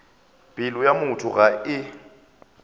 pelo ya motho ga e